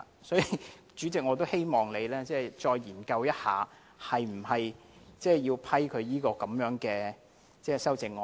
所以，主席，我也希望你再研究一下，是否要批准他這項修正案。